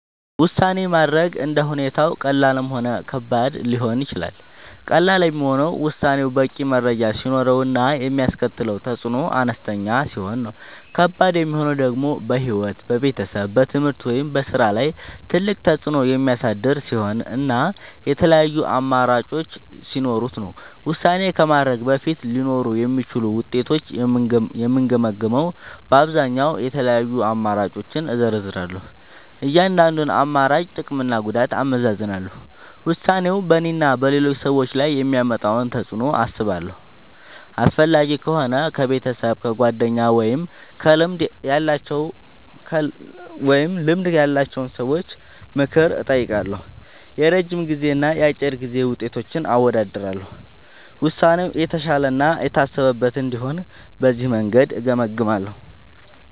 ውሳኔ ማድረግ እንደ ሁኔታው ቀላልም ሆነ ከባድም ሊሆን ይችላል። ቀላል የሚሆነው ውሳኔው በቂ መረጃ ሲኖረው እና የሚያስከትለው ተፅዕኖ አነስተኛ ሲሆን ነው። ከባድ የሚሆነው ደግሞ በሕይወት፣ በቤተሰብ፣ በትምህርት ወይም በሥራ ላይ ትልቅ ተፅዕኖ የሚያሳድር ሲሆን እና የተለያዩ አማራጮች ሲኖሩት ነው። ውሳኔ ከማድረግ በፊት ሊኖሩ የሚችሉትን ውጤቶች የምገመግመዉ በአብዛኛዉ፦ የተለያዩ አማራጮችን እዘረዝራለሁ። የእያንዳንዱን አማራጭ ጥቅምና ጉዳት አመዛዝናለሁ። ውሳኔው በእኔና በሌሎች ሰዎች ላይ የሚያመጣውን ተፅዕኖ አስባለሁ። አስፈላጊ ከሆነ ከቤተሰብ፣ ከጓደኞች ወይም ከልምድ ያላቸው ሰዎች ምክር እጠይቃለሁ። የረጅም ጊዜና የአጭር ጊዜ ውጤቶችን አወዳድራለሁ። ውሳኔው የተሻለ እና የታሰበበት እንዲሆን በዚህ መንገድ እገመግማለሁ።